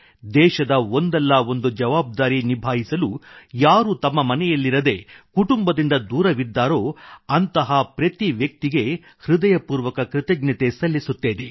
ದೇಶದ ಒಂದಲ್ಲಾ ಒಂದು ಜವಾಬ್ದಾರಿ ನಿಭಾಯಿಸಲು ಯಾರು ತಮ್ಮ ಮನೆಯಲ್ಲಿರದೇ ಕುಟುಂಬದಿಂದ ದೂರವಿದ್ದಾರೋ ಅಂಥ ಪ್ರತಿ ವ್ಯಕ್ತಿಗೆ ಹೃದಯಪೂರ್ವಕ ಕೃತಜ್ಞತೆ ಸಲ್ಲಿಸುತ್ತೇನೆ